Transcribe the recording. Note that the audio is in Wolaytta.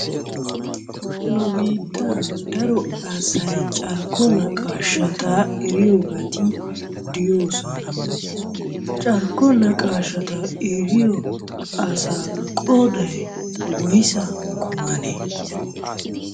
Nu biittan daro asay carkko naqaashata eriyobati de'oosona. Carkko naqaashata eriyo asaa qooday woysa kummanee?